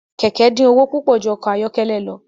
Kẹkẹ din owo pupọ ju ọkọ ayọkẹlẹ lọ.